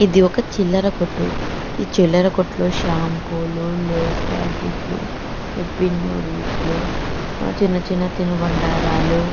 ఇదిఒక చిల్లర కొట్టు ఈ చిల్లర కొట్టులో షాంపూలూ లేస్ ప్యాకెట్లు ఇపి నూడిల్స్ లు ఆహ్ చిన్న చిన్న తినుబండారాలు--